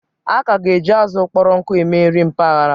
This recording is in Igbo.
A ka ga-eji azụ kpọrọ nkụ eme nri mpaghara.